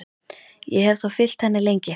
Ég hef þá fylgt henni lengi.